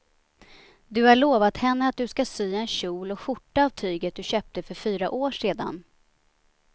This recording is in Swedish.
Du har lovat henne att du ska sy en kjol och skjorta av tyget du köpte för fyra år sedan.